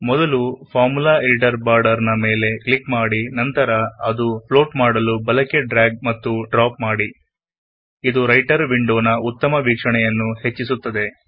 ಮೊದಲು formula editor border ನ ಮೇಲೆ ಕ್ಲಿಕ್ ಮಾಡಿ ನಂತರ ಬಲಕ್ಕೆ ಡ್ಯ್ರಾಗ್ ಮತ್ತು ಡ್ರಾಪ್ ಮಾಡಿ ಫ್ಳೋಟ್ ಮಾಡಿ ಇದು ರೈಟರ್ ವಿಂಡೋ ನ ಉತ್ತಮ ವೀಕ್ಷಣೆಗೆ ಸಹಾಯ ಮಾಡುತ್ತದೆ